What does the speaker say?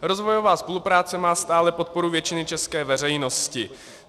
Rozvojová spolupráce má stále podporu většiny české veřejnosti.